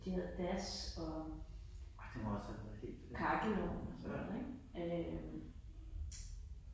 De havde das og kakkelovn og sådan noget ik. Øh